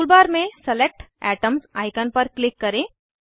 tool bar में select atoms icon पर click करें